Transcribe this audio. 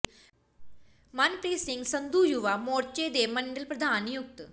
ਮਨਪ੍ਰੀਤ ਸਿੰਘ ਸੰਧੂ ਯੁਵਾ ਮੋਰਚੇ ਦੇ ਮੰਡਲ ਪ੍ਰਧਾਨ ਨਿਯੁਕਤ